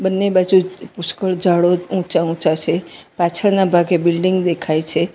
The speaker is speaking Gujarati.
બંને બાજુ પુષ્કળ ઝાડો ઊંચા-ઊંચા છે પાછળના ભાગે બિલ્ડીંગ દેખાય છે.